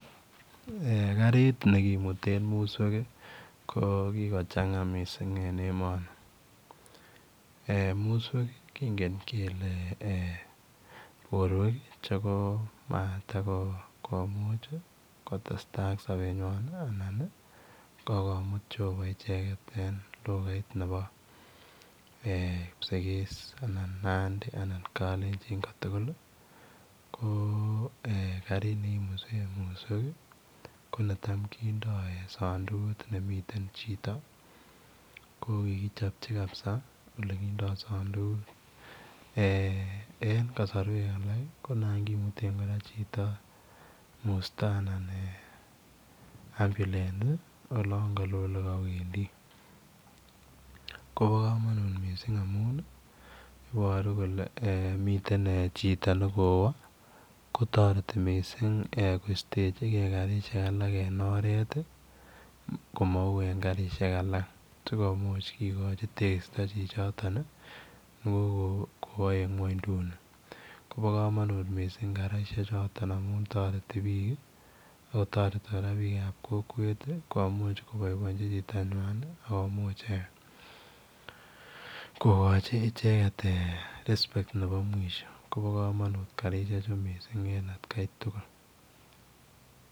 Eeh kariit ne komiteen musweek ko kikochangaa missing en emanii eeh musweek kongeen kele eeh borweek che komatakomuuch kotestai ak sabeet nywaany ii anan. Ii kokomuut Jehovah en lugait nebo kipsigis anan Nandi anan kalenjiin ko eeh eng musweek ko netai kindaa sadukuut ne miten chitoo ko kikichapchii ole kindaa musweek en kasorweeek alaak ii ko naan komiteen kora chitoo mustaa anan [ambulance ii] olaan ka loo ole kawendii ko bo kamanutiet missing iboruu kole miten chitoo nekowaa kotaretii missing koistejigei missing karisheek alaak en oret ii komau en karisheek alaak sikomuuch kigochi tekistaa chi chotoon ii ko kowa eng kwaanynduni koba kamanut missing karisheek chitoon amuun taretii biik ii ako taretii kora biik ab kokweet ii komuuch kobaibajin chitoo nywany nekomuich eeh kogochii I ichegeet eeh [respect] nebo mwisho kobaa kamanut karisheek chuu missing en at kai tugul.